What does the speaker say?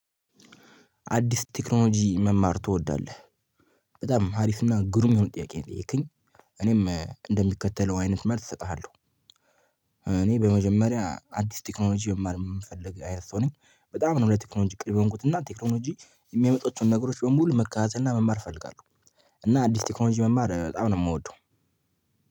አዲስ ቴክኖሎጂ መማር ትወዳለህ? በጣም ሀሪፍና ግሩም የሆነ ጥያቄ የጠየከኝ እኔም እንደሚከተለው አይነት መልስ እሰጥሃለሁ። እኔ በመጀመሪያ አዲስ ቴክኖሎጂ የማልፈልግ አይነት ሰው ነኝ። በጣም ነው ለቴክኖሎጂ ቅርብ የሆንኩት እና ቴክኖሎጂ የሚያመጡት ነገሮች በሙሉ መካታተልና መማር እፈልጋለሁ። እና አዲስ ቴክኖሎጂ መማር በጣም ነው ምወደው።